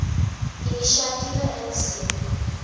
inisiatiewe insien